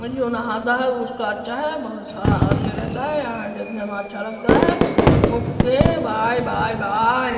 में जो नहाता है वो उसका अच्छा है बहुत सारा आदमी रहता है यहाँ देखने में अच्छा लगता है ओके बाय बाय बाय ।